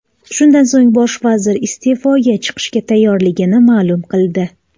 Shundan so‘ng bosh vazir iste’foga chiqishga tayyorligini ma’lum qildi .